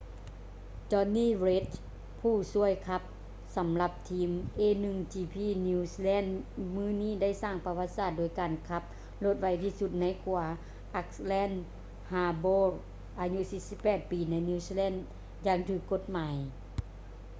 jonny reid ຜູ້ຊ່ວຍຂັບສຳລັບທີມ a1gp new zealand ມື້ນີ້ໄດ້ສ້າງປະຫວັດສາດໂດຍການຂັບລົດໄວທີ່ສຸດໃນຂົວ auckland harbourອາຍຸ 48 ປີ ໃນ new zealand ຢ່າງຖືກກົດໝາຍ